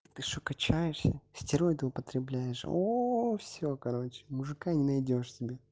ты что качаешься стероиды употребляешь оо все короче мужика не найдёшь себе